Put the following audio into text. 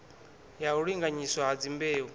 ya u linganyiswa ha dzimbeu